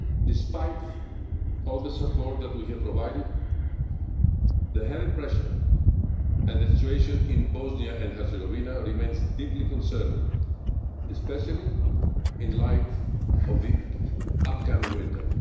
occasion. Despite all the support that we have provided, the heavy pressure and the situation in Bosnia and Herzegovina remains deeply concerning, especially in light of the upcoming